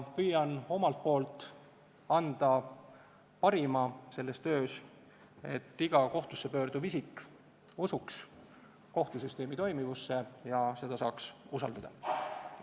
Püüan omalt poolt anda selles töös parima, et iga kohtusse pöörduv isik usuks kohtusüsteemi toimimisse ja seda saaks usaldada.